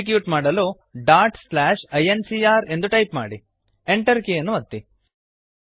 execute ಮಾಡಲು dot slash I N C R ಎಂದು type ಮಾಡಿ Enter ಕೀಯನ್ನು ಒತ್ತಿ